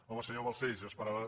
home senyor balcells jo esperava